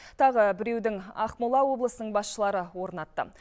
тағы біреудің ақмола облысының басшылары орнатты